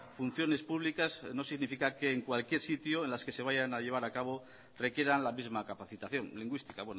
funciones públicas no significa que en cualquier sitio en las que se vayan a llevar a cabo requieran la misma capacitación lingüística